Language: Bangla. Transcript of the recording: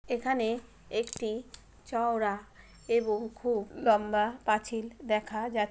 এখানে একটি চওড়া এবং খুব লম্বা পাঁচিল দেখা যাচ্ছ--